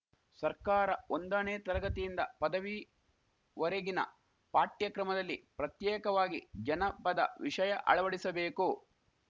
ಸರ್ಕಾರ ಒಂದಣೇ ತರಗತಿಯಿಂದ ಪದವಿವರೆಗಿನ ಪಾಠ್ಯಕ್ರಮದಲ್ಲಿ ಪ್ರತ್ಯೇಕವಾಗಿ ಜನಪದ ವಿಷಯ ಅಳವಡಿಸಬೇಕು